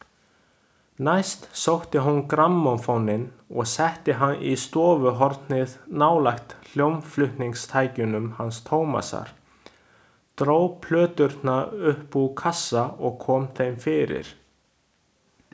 Næst sótti hún grammófóninn og setti hann í stofuhornið nálægt hljómflutningstækjunum hans Tómasar, dró plöturnar upp úr kassa og kom þeim fyrir.